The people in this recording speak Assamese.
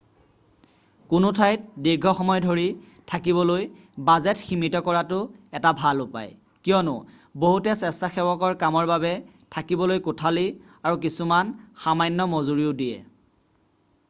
কোনো ঠাইত দীৰ্ঘসময় ধৰি থাকিবলৈ বাজেট সীমিত কৰাটো এটা ভাল উপায় কিয়নো বহুতে স্বেচ্ছাসেৱকৰ কামৰ বাবে থাকিবলৈ কোঠালি আৰু কিছুমানে সামান্য মজুৰিও দিয়ে